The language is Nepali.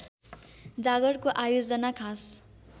जागरको आयोजना खास